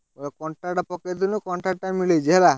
ହଉ contract ଟା ପକେଇଥିଲି contract ଟା ମିଳିଛି ହେଲା।